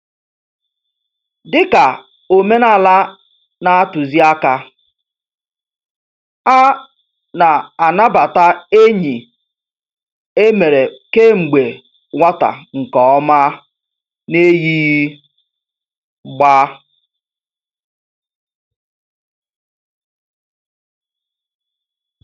Dị ka omenala na-atuzi àkà, a na-anabata enyi e mere kemgbe nwata nke ọma n'eyighị gbá.